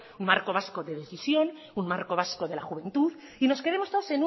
marco vasco de decisión un marco vasco de la juventud y nos quedemos todos